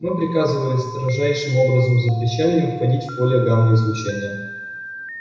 мы приказывали строжайшим образом запрещали им входить в поле гамма-излучения